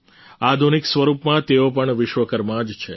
આધુનિક સ્વરૂપમાં તેઓ પણ વિશ્વકર્મા જ છે